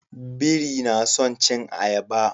Biri na son cin ayaba